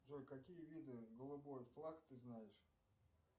джой какие виды голубой флаг ты знаешь